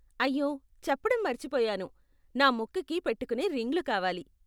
అయ్యో, చెప్పడం మర్చిపోయాను, నాకు ముక్కుకి పెట్టుకునే రింగ్లు కావాలి.